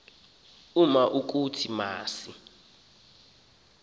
ma ukuthi masi